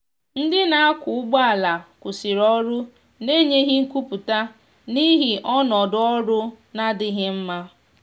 ndi na akwa ụgbọ ala kwụsiri ọrụ na enyeghi nkwụputa n'ihi ọnọdọ ọrụ na-adighi mma.